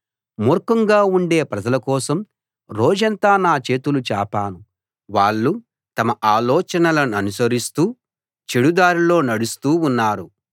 మూర్ఖంగా ఉండే ప్రజలకోసం రోజంతా నా చేతులు చాపాను వాళ్ళు తమ ఆలోచనలననుసరిస్తూ చెడు దారిలో నడుస్తూ ఉన్నారు